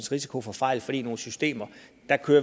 risiko for fejl fordi nogle systemer